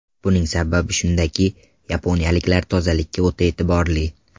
Buning sababi shundaki, yaponiyaliklar tozalikka o‘ta e’tiborli.